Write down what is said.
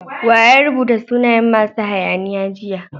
Wa ya rubuta sunayen masu hayaniya jiya?